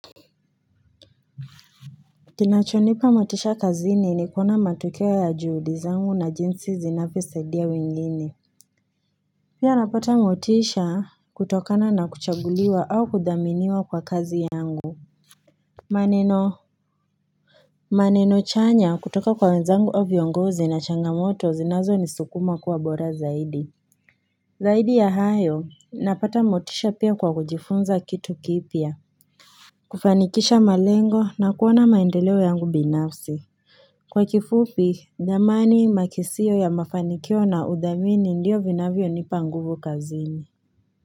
Kinachonipa motisha kazini ni kuona matokeo ya juhudi zangu na jinsi zinavyosaidia wengine. Pia napata motisha kutokana na kuchaguliwa au kudhaminiwa kwa kazi yangu. Maneno maneno chanya kutoka kwa wenzangu au viongozi na changamoto zinazo ni sukuma kuwa bora zaidi. Zaidi ya hayo napata motisha pia kwa kujifunza kitu kipya. Kufanikisha malengo na kuona maendeleo yangu binafsi. Kwa kifupi, dhamani makisio ya mafanikio na uthamini ndiyo vinavyo nipanguvu kazini.